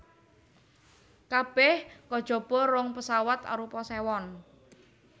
Kabèh kajaba rong pesawat arupa sewan